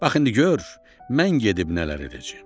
Bax indi gör mən gedib nələr edəcəyəm!